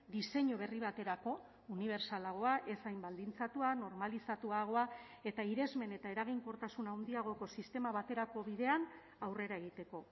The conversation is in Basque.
diseinu berri baterako unibertsalagoa ez hain baldintzatua normalizatuagoa eta irismen eta eraginkortasun handiagoko sistema baterako bidean aurrera egiteko